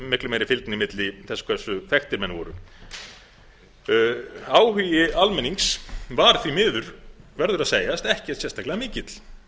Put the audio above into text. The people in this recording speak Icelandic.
miklu meiri fylgni milli þess hversu þekktir menn voru áhugi almennings var því miður verður að segjast ekkert sérstaklega mikill